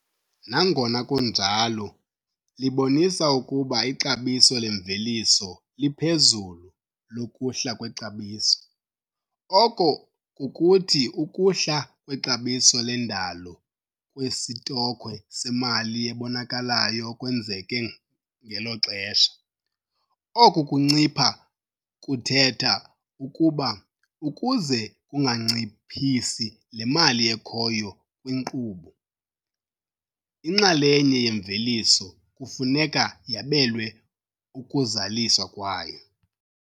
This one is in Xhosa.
Igama elithi "gross", nangona kunjalo, libonisa ukuba ixabiso lemveliso liphezulu lokuhla kwexabiso, oko kukuthi ukuhla kwexabiso lendalo kwesitokhwe semali ebonakalayo okwenzeke ngelo xesha, oku kuncipha kuthetha ukuba, ukuze kunganciphisi le mali ekhoyo kwinkqubo, inxalenye yemveliso kufuneka yabelwe ukuzaliswa kwayo.